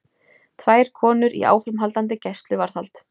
Tvær konur í áframhaldandi gæsluvarðhald